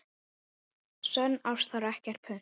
Sönn ást þarf ekkert punt.